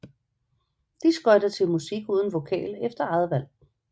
De skøjter til musik uden vokal efter eget valg